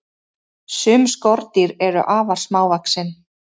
Sum skordýr eru afar smávaxin.